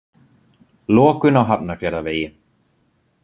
Lokun á Hafnarfjarðarvegi